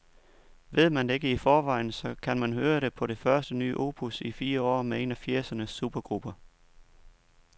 Ved man ikke det i forvejen, så kan man høre det på det første nye opus i fire år med en af firsernes supergrupper.